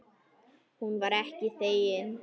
Hún var ekki þegin.